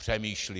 Přemýšlí!